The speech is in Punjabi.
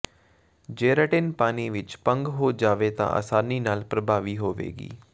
ਜੇਰੈਟਿਨ ਪਾਣੀ ਵਿੱਚ ਭੰਗ ਹੋ ਜਾਵੇ ਤਾਂ ਆਸਾਨੀ ਨਾਲ ਪ੍ਰਭਾਵੀ ਹੋਵੇਗੀ